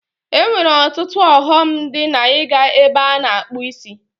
E nwere ọtụtụ ọghọm dị n'iga ebe a na-akpụ isi.